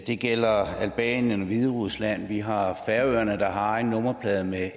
det gælder albanien og hviderusland vi har færøerne der har en nummerplade med